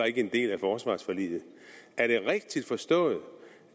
ikke er en del af forsvarsforliget er det rigtigt forstået